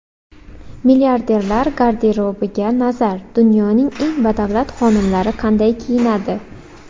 Milliarderlar garderobiga nazar: Dunyoning eng badavlat xonimlari qanday kiyinadi?